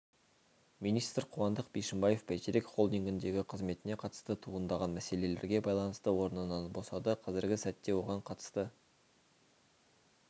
министр қуандық бишімбаев бәйтерек холдингіндегі қызметіне қатысты туындаған мәселелерге байланысты орнынан босады қазіргі сәтте оған қатысты